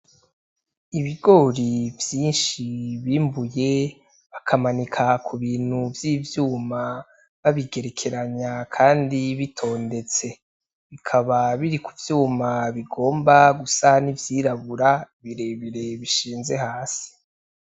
Ibigori vyinshi bimbuye bakamanika ku bintu vy'ivyuma babigerekanya kandi bitondetse bikaba biri ku vyuma bigomba gusa n'ivyirabura birebire bishinze hasi.